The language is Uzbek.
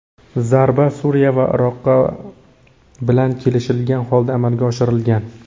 Zarba Suriya va Iroq bilan kelishilgan holda amalga oshirilgan.